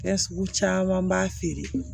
Fɛn sugu caman b'a feere